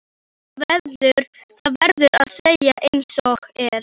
Það verður að segjast einsog er.